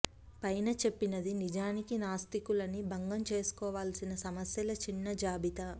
పైన చెప్పినది నిజానికి నాస్తికులని భంగం చేసుకోవలసిన సమస్యల చిన్న జాబితా